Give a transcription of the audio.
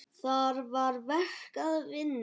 Þar var verk að vinna.